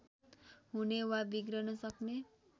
हुने वा बिग्रन सक्ने